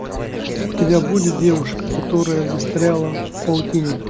у тебя будет девушка которая застряла в паутине